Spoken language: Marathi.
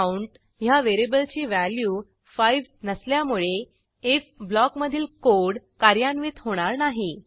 काउंट ह्या व्हेरिएबलची व्हॅल्यू 5 नसल्यामुळे आयएफ ब्लॉकमधील कोड कार्यान्वित होणार नाही